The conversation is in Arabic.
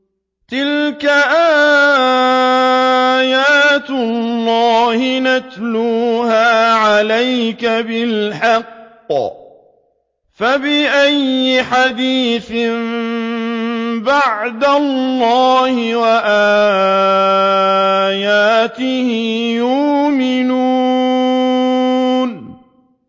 تِلْكَ آيَاتُ اللَّهِ نَتْلُوهَا عَلَيْكَ بِالْحَقِّ ۖ فَبِأَيِّ حَدِيثٍ بَعْدَ اللَّهِ وَآيَاتِهِ يُؤْمِنُونَ